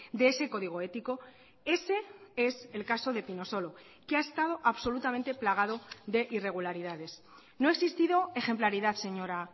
de ese código ético ese es el caso de pinosolo que ha estado absolutamente plagado de irregularidades no ha existido ejemplaridad señora